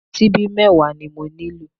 Síbí bíi mẹ́wàá ni mo nílò?